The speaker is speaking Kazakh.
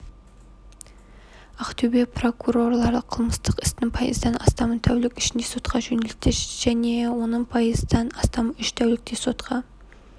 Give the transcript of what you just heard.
ақтөбе прокурорлары қылмыстық істің пайыздан астамын тәулік ішінде сотқа жөнелтті оның пайыздан астамы үш тәулікте сотқа